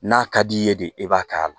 N'a ka d'i ye de e b'a k'a la